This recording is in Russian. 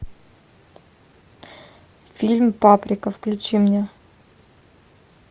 фильм паприка включи мне